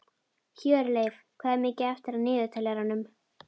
Hjörleif, hvað er mikið eftir af niðurteljaranum?